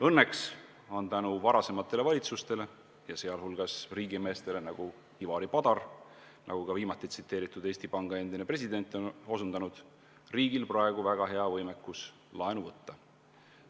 Õnneks on tänu varasematele valitsustele, sh riigimeestele nagu Ivari Padar, nagu ka just tsiteeritud Eesti Panga endine president on osutanud, riigil praegu väga hea võimekus laenu võtta.